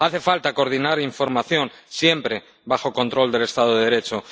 Hace falta coordinar información, siempre bajo control del Estado de Derecho.